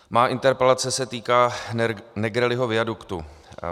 Má interpelace se týká Negrelliho viaduktu.